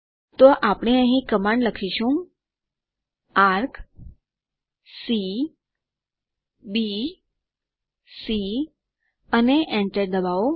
તો આપણે અહીં કમાન્ડ લખીશું Arcc બી c અને enter ડબાઓ